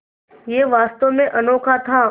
यह वास्तव में अनोखा था